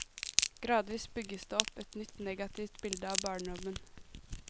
Gradvis bygges det opp et nytt negativt bilde av barndommen.